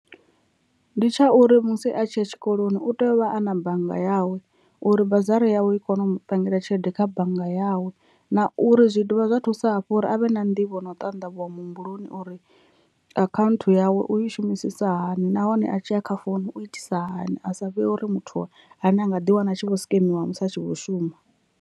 Ndi tsha uri musi a tshiya tshikoloni u tea u vha a na bannga yawe uri bazari yawe i kone u mu pangele tshelede kha bannga yawe, na uri zwi dovha zwa thusa hafhu uri avhe na nḓivho an u ṱanḓavhuwa muhumbuloni uri account yawe u i shumisisa hani nahone a tshi ya kha founu u itisa hani asa vhe uri muthu ane a nga ḓi wana a tshi vho sikemiwa musi a tshi vho shuma.